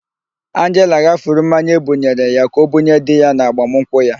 Anjela ghafuru mmanya ebunyere ya ka ọbunye di ya n'agbamụnkwụ ya.